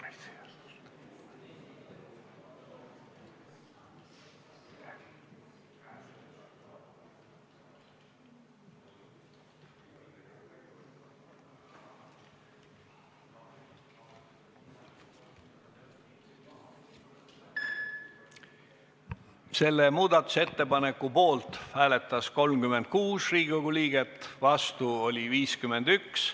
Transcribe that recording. Hääletustulemused Selle muudatusettepaneku poolt hääletas 36 Riigikogu liiget, vastu oli 51.